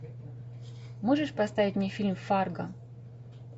можешь поставить мне фильм фарго